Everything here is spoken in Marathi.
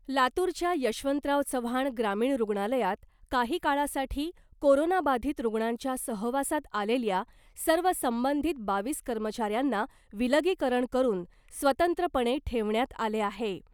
लातूरच्या यशवंतराव चव्हाण ग्रामीण रुग्णालयात काही काळासाठी कोरोनाबाधीत रूग्णांच्या सहवासात आलेल्या सर्व संबंधीत बावीस कर्मचाऱ्यांना विलगीकरण करून स्वतंत्रपणे ठेवण्यात आले आहे .